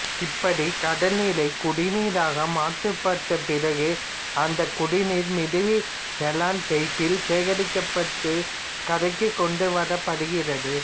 இப்படி கடல் நீரை குடி நீராக மாற்றப்பட்டபிறகுஅந்த குடிநீர் மிதவை நைலான் பையில் சேகரிக்கப்பட்டுகரைக்கு கொண்டு வரப்படுகிறது